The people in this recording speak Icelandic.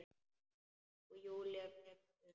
Og Júlía gefst upp.